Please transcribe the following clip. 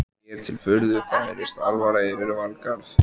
Mér til furðu færist alvara yfir Valgarð.